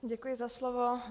Děkuji za slovo.